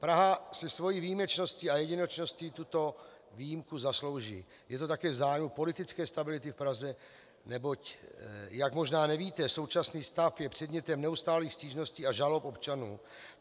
Praha si svou výjimečností a jedinečností tuto výjimku zaslouží, je to také v zájmu politické stability v Praze, neboť, jak možná nevíte, současný stav je předmětem neustálých stížností a žalob občanů.